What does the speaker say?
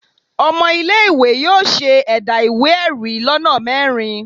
Ọmọ ile-iwe yóò ṣe ẹda iwe-ẹri lona mẹrin.